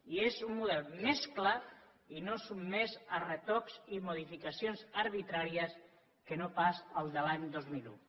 i és un model més clar i no sotmès a retocs i modificacions arbitràries que no pas el de l’any dos mil un